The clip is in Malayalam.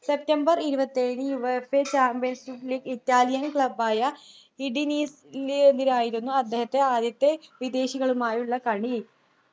september ഇരുപത്തിഏഴിന് UEFA Champions League Italian club ആയ ഇഡിനീസിനെതിരെയായിരുന്നു അദ്ദേഹത്തിൻ്റെ ആദ്യത്തെ വിദേശികളുമായുള്ള കളി